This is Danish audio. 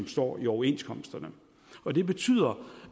står i overenskomsterne og det betyder